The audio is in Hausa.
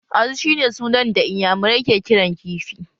Azu shi ne sunan da iyamurai ke kiran kifi